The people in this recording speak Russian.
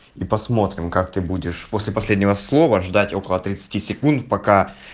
и посмотрим как ты будешь после последнего слова ждать около тридцати секунд пока